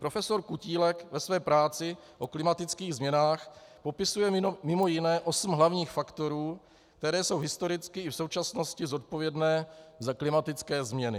Profesor Kutílek ve své práci o klimatických změnách popisuje mimo jiné osm hlavních faktorů, které jsou historicky i v současnosti zodpovědné za klimatické změny.